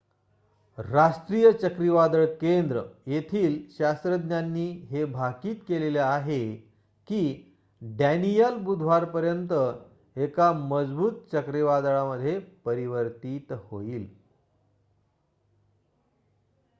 राष्ट्रीय चक्रीवादळ केंद्र येथील शास्त्रज्ञांनी हे भाकीत केलेले आहे कीडॅनीयल बुधवारपर्यंत एका मजबूत चक्रीवादळामध्ये परिवर्तीत होईल